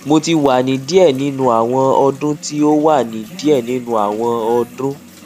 mo ti wa ni diẹ ninu awọn ọdun ti o wa ni diẹ ninu awọn ọdun